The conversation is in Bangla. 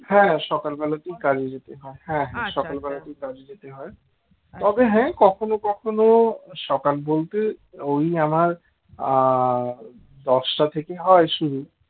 তবে হ্যাঁ কখনো কখনো সকাল বলতে ওই আমার দশটা থেকে হয় শুরু